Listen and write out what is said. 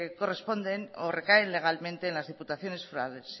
corresponden o recaen legalmente en las diputaciones forales